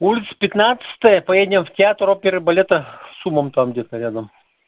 улица пятнадцатая поедем в театр оперы и балета с умом там где-то рядом